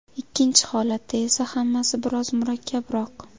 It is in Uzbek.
Ikkinchi holatda esa hammasi biroz murakkabroq.